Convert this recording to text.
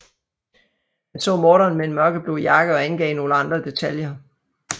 Han så morderen med en mørkeblå jakke og angav nogle andre detaljer